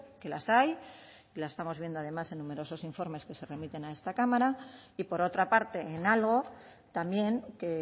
que las hay las estamos viendo además en numerosos informes que se remiten a esta cámara y por otra parte en algo también que